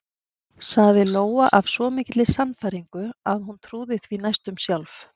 sagði Lóa af svo mikilli sannfæringu að hún trúði því næstum sjálf.